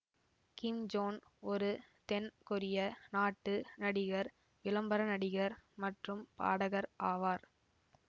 கிம் Jon ஒரு தென் கொரிய நாட்டு நடிகர் விளம்பர நடிகர் மற்றும் பாடகர் ஆவார்